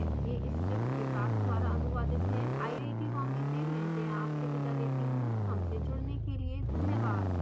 यह स्क्रिप्ट विकास द्वारा अनुवादित है iit bombay से मैं जया आपसे विदा लेती हूँ धन्यवाद